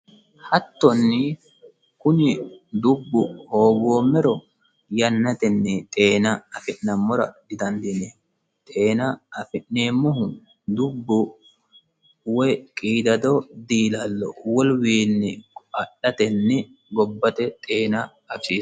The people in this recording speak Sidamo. hattonni kuni dubbu hoogoommero yannatenni xeena afi'nammora didandiini xeena afi'neemmohu dubbu woy qiidado diilallo woluwiinni adhatenni gobbate xeena afisiisanno.